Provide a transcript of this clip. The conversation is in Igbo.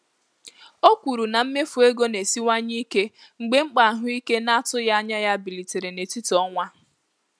O kwuru na mmefu ego na-esiwanye ike mgbe mkpa ahụike na-atụghị anya ya bilitere n'etiti ọnwa.